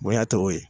Bonya tɔw ye